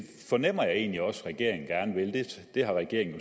fornemmer jeg egentlig også regeringen gerne vil det har regeringen